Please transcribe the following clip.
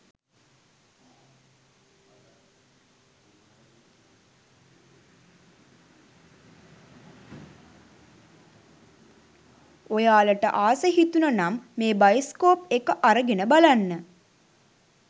ඔයාලට ආස හිතුණනම් මේ බයිස්කෝප් එක අරගෙන බලන්න